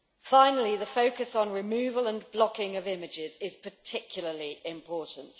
Finally, the focus on removal and blocking of images is particularly important.